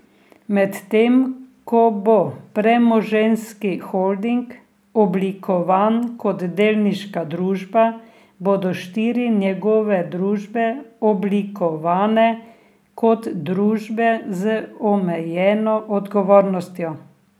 Medtem ko bo premoženjski holding oblikovan kot delniška družba, bodo štiri njegove družbe oblikovane kot družbe z omejeno odgovornostjo.